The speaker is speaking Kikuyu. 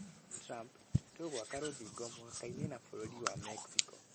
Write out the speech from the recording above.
Trump: Tũgwaka rũthingo mũhakainĩ na bũrũri na Mexico.